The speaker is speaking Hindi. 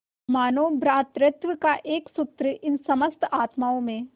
मानों भ्रातृत्व का एक सूत्र इन समस्त आत्माओं